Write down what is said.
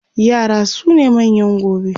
yara sune manyan gobe